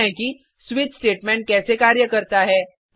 अब समझते हैं कि स्विच स्टेटमेंट कैसे कार्य करता है